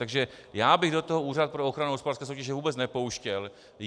Takže já bych do toho Úřad pro ochranu hospodářské soutěže vůbec nepouštěl.